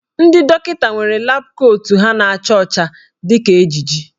Ndị dọkịta nwere lab kootu ha na-acha ọcha dị ka ejiji.